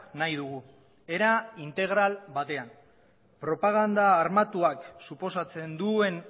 nahi dugu era integral batean propaganda armatuak suposatzen duen